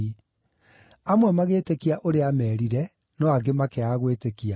Amwe magĩĩtĩkia ũrĩa aameerire, no angĩ makĩaga gwĩtĩkia.